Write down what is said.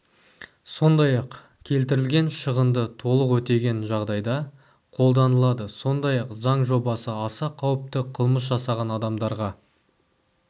сондай-ақ келтірілген шығынды толық өтеген жағдайда қолданылады сондай-ақ заң жобасы аса қауіпті қылмыс жасаған адамдарға